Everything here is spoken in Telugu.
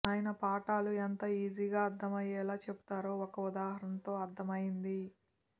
ఆయన పాఠాలు ఎంత ఈజీగా అర్థమయ్యేలా చెబుతారో ఒక ఉదాహరణతో అర్ధమయ్యింది